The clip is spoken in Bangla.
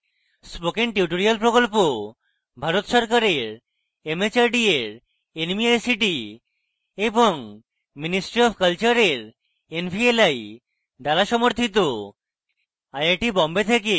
spoken tutorial project ভারত সরকারের mhrd এর nmeict এবং ministry অফ কলচারের nvli দ্বারা সমর্থিত